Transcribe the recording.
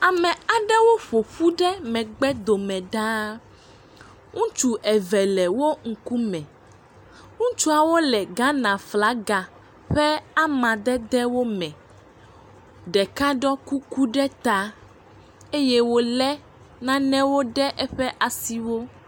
Ame aɖewo ƒoƒu ɖe megbe dome ɖa. Ŋutsu eve le wo ŋkume. Ŋutsuawo le Ghana ƒe aflaga ƒe amadedewo me. Ɖeka ɖɔe kuku ɖe ta eye wole nane ɖe eƒe asiwo.